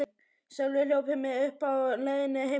Sölvi hljóp mig uppi á leiðinni heim úr skólanum.